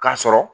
K'a sɔrɔ